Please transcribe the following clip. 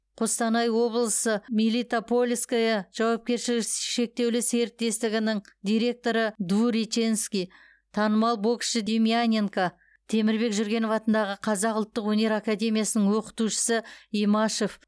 қостанай облысы мелитопольское жауапкершілігі шектеулі серіктестігінің директоры двуреченский танымал боксшы демьяненко темірбек жүргенов атындағы қазақ ұлттық өнер академиясының оқытушысы имашев